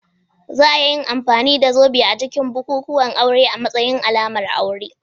Za a iya amfani da zobe a cikin bukukuwan aure a matsayin alamar aure.